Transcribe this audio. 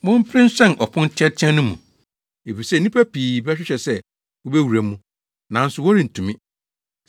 “Mompere nhyɛn ɔpon teateaa no mu, efisɛ nnipa pii bɛhwehwɛ sɛ wobewura mu, nanso wɔrentumi.